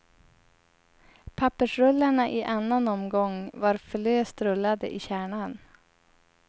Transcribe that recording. Pappersrullarna i annan omgång var för löst rullade i kärnan.